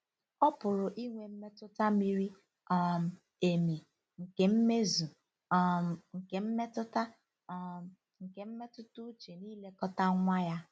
Ọ pụrụ inwe mmetụta miri um emi nke mmezu um nke mmetụta um nke mmetụta uche n'ilekọta nwa ya.